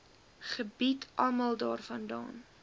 gebied almal daarvandaan